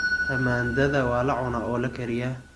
Tamaandhada waa la cunaa oo la kariyaa.